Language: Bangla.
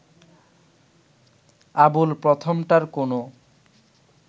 আবুল প্রথমটার কোনো